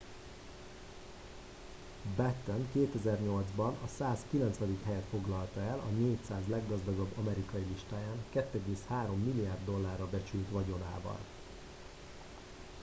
batten 2008 ban a 190. helyet foglalta el a 400 leggazdagabb amerikai listáján 2,3 milliárd dollárra becsült vagyonával